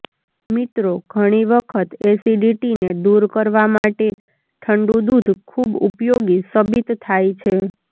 મિત્રો ઘણી વખત એસીડીટી ને દૂર કરવામાટે ઠંડુ દૂધ ખુબ ઉપયોગી સબીત થાઈ છે